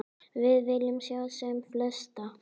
Við viljum sjá sem flesta.